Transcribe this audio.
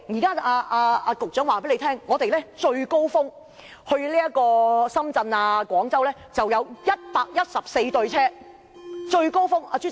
局長說最高峰時期來回深圳、廣州會有114對列車。